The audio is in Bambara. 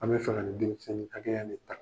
An bɛ faga ni denmisɛnnin hakɛ ya in de ta.